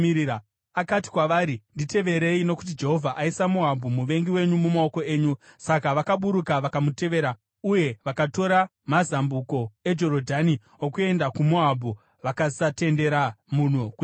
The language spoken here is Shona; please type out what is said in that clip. Akati kwavari, “Nditeverei, nokuti Jehovha aisa Moabhu muvengi wenyu, mumaoko enyu.” Saka vakaburuka vakamutevera, uye vakatora mazambuko eJorodhani okuenda kuMoabhu, vakasatendera munhu kuyambuka.